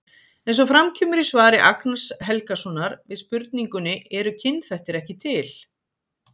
Eins og fram kemur í svari Agnars Helgasonar við spurningunni Eru kynþættir ekki til?